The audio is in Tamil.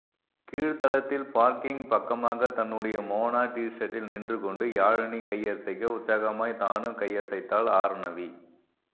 கீழ்த்தளத்தில் பார்க்கிங் பக்கமாக தன்னுடைய மோனா டீஷர்ட்டில் நின்று கொண்டு யாழினி கையசைக்க உற்சாகமாய் தானும் கையசைத்தாள் ஆர்ணவி